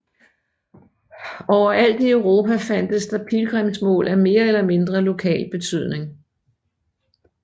Overalt i Europa fandtes der pilgrimsmål af mere eller mindre lokal betydning